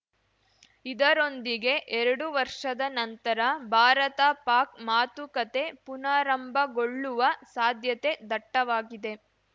ಇದರೊಂದಿಗೆ ಎರಡು ವರ್ಷದ ನಂತರ ಭಾರತಪಾಕ್‌ ಮಾತುಕತೆ ಪುನಾರಂಭಗೊಳ್ಳುವ ಸಾಧ್ಯತೆ ದಟ್ಟವಾಗಿದೆ